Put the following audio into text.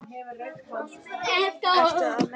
Ertu að meina?